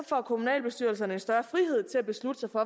får kommunalbestyrelserne større frihed til at beslutte sig for